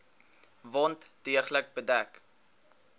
wond deeglik bedek